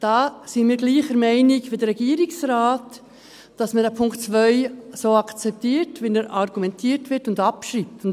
Da sind wir gleicher Meinung wie der Regierungsrat, dass man Punkt 2 so akzeptiert, wie dazu argumentiert wird, und ihn abschreibt.